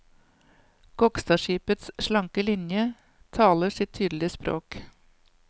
Gokstadskipets slanke linjer taler sitt tydelige språk.